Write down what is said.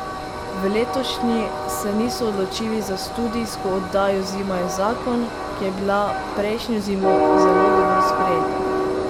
V letošnji se niso odločili za studijsko oddajo Zima je zakon, ki je bila prejšnjo zimo zelo dobro sprejeta.